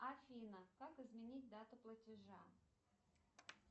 афина как изменить дату платежа